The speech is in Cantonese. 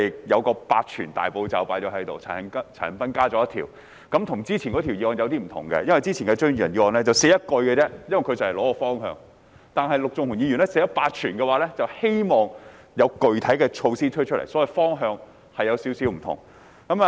與上一項議案有點不同，因為張宇人議員的議案措辭只有一句，原因是他只提出方向，但陸頌雄議員則提出"八全"，希望政府推出具體的措施，所以兩項議案有點不同。